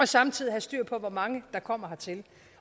samtidig have styr på hvor mange der kommer hertil